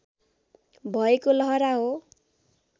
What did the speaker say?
भएको लहरा हो